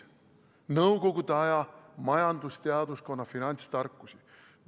Nõukogude aja majandusteaduskonna finantstarkusi!